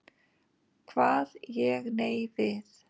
Kvað ég nei við.